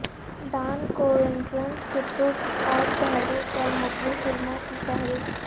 Dawn Koontz کتب اور تحریر پر مبنی فلموں کی فہرست